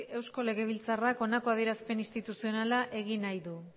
eusko legebiltzarrak honelako adierazpen instituzionala egin nahi du